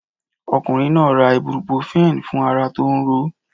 Ọkùnrin náà ra Ibruprofen fún ara tó ń ro ó.